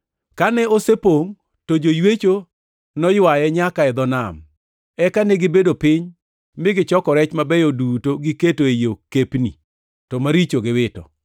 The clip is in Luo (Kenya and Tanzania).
Kane osepongʼ to joywecho noywaye nyaka e dho nam. Eka negibedo piny mi gichoko rech mabeyo duto giketo ei okepni, to maricho to giwito.